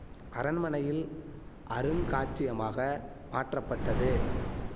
அரண்மனையில் அருங்காட்சியமாக மாற்றப்பட்டது